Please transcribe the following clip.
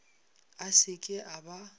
a se ke a ba